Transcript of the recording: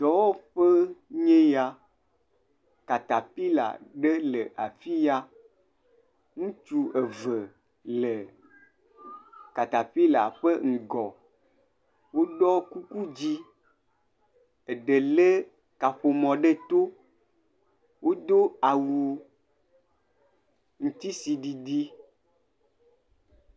Dɔwɔƒee nye eye ya. Katapila ɖe le afiya. Ŋutsu eve le katapila ƒe ŋgɔ. Woɖɔ kuku dzɛ, eɖe le kaƒomɔ ɖe to. Wodo awu ŋutisiɖiɖi.